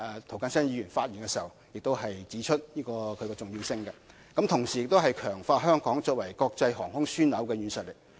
涂謹申議員剛才亦指出其重要性，同時強化香港作為國際航空樞紐的實力。